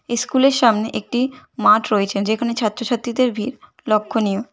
ইস্কুলের সামনে একটি মাঠ রয়েছে যেখানে ছাত্র ছাত্রীদের ভীড় লক্ষ্যণীয়।